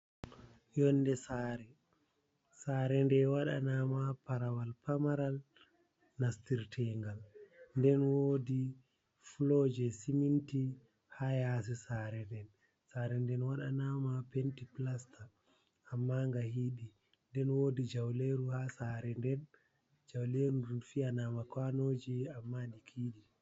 Yonde sare, sare nde wadana ma parawal pamaral nastir tengal nden wodi flo je siminti ha yasi sare nden sare nden wadana ma penteplaster amma nga hiidi nden wodi jauleru ha sare den jauleru dun fiyanama kwanoji amma di hiidi.